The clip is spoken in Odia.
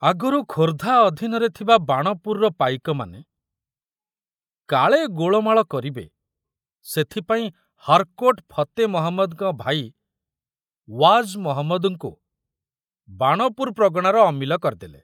ଆଗରୁ ଖୋର୍ଦ୍ଧା ଅଧୀନରେ ଥିବା ବାଣପୁରର ପାଇକମାନେ କାଳେ ଗୋଳମାଳ କରିବେ ସେଥପାଇଁ ହାରକୋର୍ଟ ଫତେ ମହମ୍ମଦଙ୍କ ଭାଇ ୱାଜ ମହମ୍ମଦଙ୍କୁ ବାଣପୁର ପ୍ରଗଣାର ଅମିଲ କରିଦେଲେ।